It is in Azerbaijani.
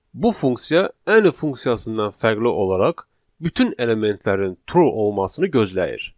Bu funksiya Any funksiyasından fərqli olaraq bütün elementlərin true olmasını gözləyir.